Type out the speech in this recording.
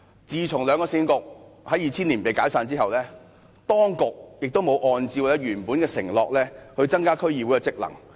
自從兩個市政局在2000年被解散後，當局也沒有按照原本的承諾，增加區議會的職能。